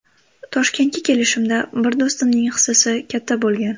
Toshkentga kelishimda bir do‘stimning hissasi katta bo‘lgan.